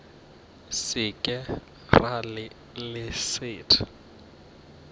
se ke ra le leset